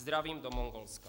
Zdravím do Mongolska.